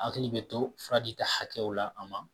Hakili bɛ to fura dita hakɛw la a ma